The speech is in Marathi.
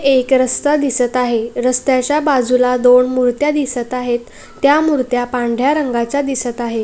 एक रस्ता दिसत आहे. रस्त्याच्या बाजूला दोन मूर्त्या दिसत आहेत. त्या मूर्त्या पांढर्‍या रंगाच्या दिसत आहे.